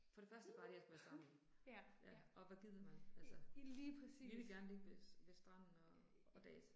For det første bare det at skal være sammen. Ja. Og hvad gider man altså? Vi vil gerne ligge ved ved stranden og og dase